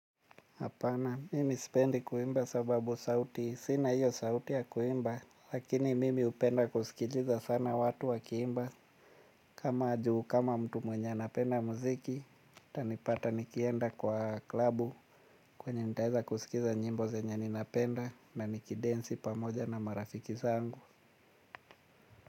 Hapana, mimi sipendi kuimba sababu sauti sina hiyo sauti ya kuimba, lakini mimi hupenda kusikiliza sana watu wakiimba. Kama juu, kama mtu mwenye anapenda muziki, utanipata nikienda kwa klabu kwenye nitaeza kusikiza nyimbo zenye ninapenda na nikidensi pamoja na marafiki zangu.